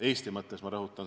Eesti mõttes, ma rõhutan.